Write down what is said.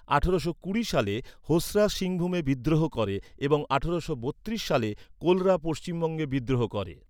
আঠারোশো কুড়ি সালে হোসরা সিংভূমে বিদ্রোহ করে, এবং আঠারোশো বত্রিশ সালে কোলরা পশ্চিমবঙ্গে বিদ্রোহ করে।